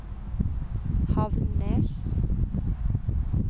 Havnnes